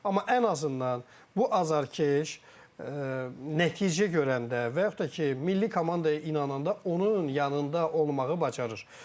Amma ən azından bu azarkeş nəticə görəndə və yaxud da ki, milli komandaya inananda onun yanında olmağı bacarır.